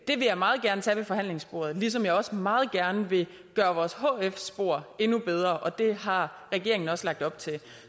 det vil jeg meget gerne tage ved forhandlingsbordet ligesom jeg også meget gerne vil gøre vores hf spor endnu bedre og det har regeringen også lagt op til